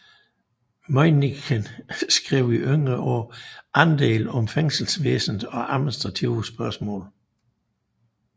Møinichen skrev i yngre år endel om fængselsvæsenet og administrative spørgsmål